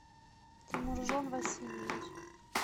тимуржон васильевич